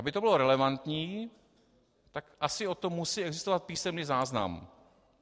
Aby to bylo relevantní, tak asi o tom musí existovat písemný záznam.